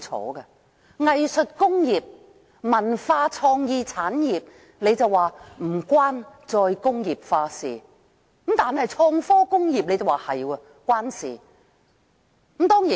當局說藝術工業或文化創意產業與"再工業化"無關，但創科工業則有關。